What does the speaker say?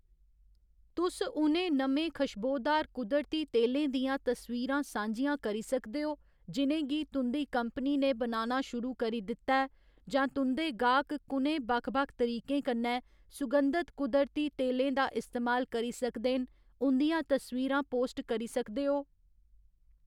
तुस उ'नें नमें खश्बोदार कुदरती तेलें दियां तस्वीरां सांझियां करी सकदे ओ जि'नें गी तुं'दी कंपनी ने बनाना शुरू करी दित्ता ऐ, जां तुं'दे गाह्‌‌क कु'नें बक्ख बक्ख तरीकें कन्नै सुगंधत कुदरती तेलें दा इस्तेमाल करी सकदे न उं'दियां तस्वीरां पोस्ट करी सकदे ओ।